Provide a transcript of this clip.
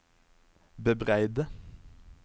bebreide